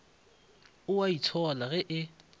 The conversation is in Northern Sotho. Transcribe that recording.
o a itshola ge e